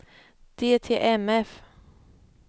DTMF